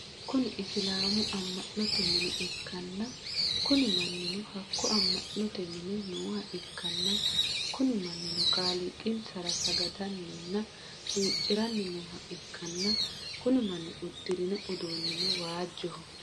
Kuni isilaamu ammanote mine ikkanna Kuni mannino hakko ammanote mine nooha ikkana Kuni mannino kaaliiqinsara sagadanina huuciranni nooha ikkana Kuni manni udirino uduunino waajjoho